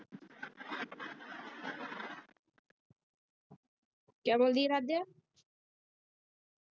ਕਿਆ ਬੋਲੀ ਅਰਾਧਿਆ?